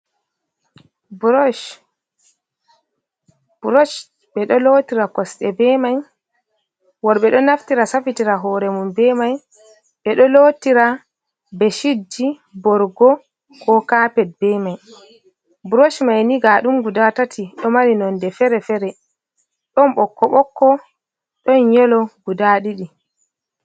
Burosh, burosh bee ɗo lootira kosɗe bee mai. Worɓe ɗo naftira safitira hoore maɓɓe mai, ɓe ɗo lootira beeshitji, borgo koo kaapet bee mai. Burosh mai ndaa d ɗum gudaa ɗiɗi ɗo mari nonde feere-feere ɗon ɓokko-ɓokko ɗon yeloo gudaa ɗiɗi.